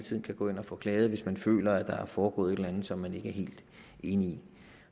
tiden kan gå ind og få klaget hvis man føler at der er foregået et eller andet som man ikke er helt enig i